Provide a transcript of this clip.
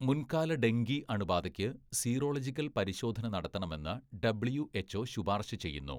മുൻകാല ഡെങ്കി അണുബാധയ്ക്ക് സീറോളജിക്കൽ പരിശോധന നടത്തണമെന്ന് ഡബ്ള്യുഎച്ച്ഒ ശുപാർശ ചെയ്യുന്നു.